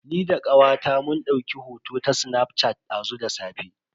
Ni da kawata mun dauki hoto ta snaf shat dazu da safe.